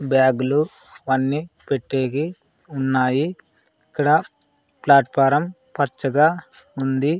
బ్యాగులు వన్నీ పెట్టేకి ఉన్నాయి ఇక్కడ ప్లాట్ఫారం పచ్చగా ఉంది.